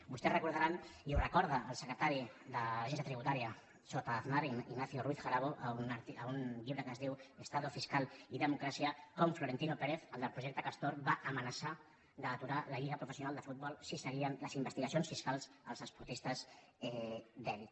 vostès recordaran i ho recorda el secretari de l’agència tributària sota aznar ignacio ruiz jarabo en un llibre que es diu estado fiscal y democraciaflorentino pérez el del projecte castor va amenaçar d’aturar la lliga professional de futbol si seguien les investigacions fiscals als esportistes d’elit